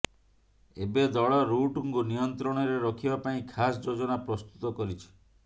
ଏବେ ଦଳ ରୁଟ୍ଙ୍କୁ ନିୟନ୍ତ୍ରଣରେ ରଖିବା ପାଇଁ ଖାସ୍ ଯୋଜନା ପ୍ରସ୍ତୁତ କରିଛି